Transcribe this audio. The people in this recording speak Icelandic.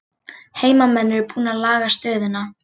Heimamenn eru búnir að laga stöðuna